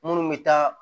Minnu bɛ taa